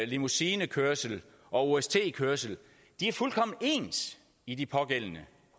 limousinekørsel og ost kørsel er fuldkommen ens i de pågældende